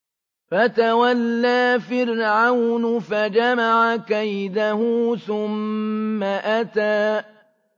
فَتَوَلَّىٰ فِرْعَوْنُ فَجَمَعَ كَيْدَهُ ثُمَّ أَتَىٰ